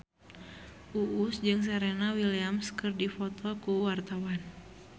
Uus jeung Serena Williams keur dipoto ku wartawan